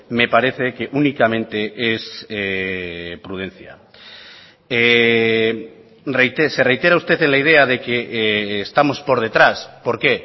me parece que únicamente es prudencia se reitera usted en la idea de que estamos por detrás por qué